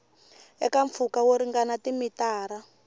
eka mpfhuka wo ringana timitara